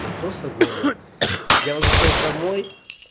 просто горло я возвращаюсь домой